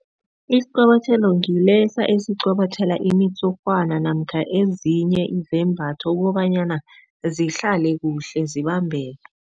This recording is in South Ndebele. Isiqobotjhelo ngilesa esiqobotjhela imitshurhwana namkha ezinye izembatho kobanyana zihlale kuhle zibambeke.